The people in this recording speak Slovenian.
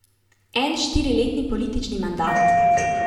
En štiriletni politični mandat?